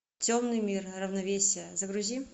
темный мир равновесие загрузи